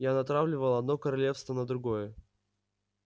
я натравливал одно королевство на другое